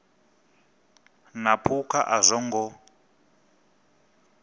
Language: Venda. na phukha a zwo ngo